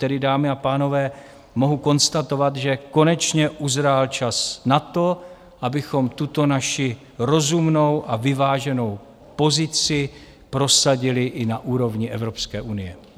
Tedy, dámy a pánové, mohu konstatovat, že konečně uzrál čas na to, abychom tuto naši rozumnou a vyváženou pozici prosadili i na úrovni Evropské unie.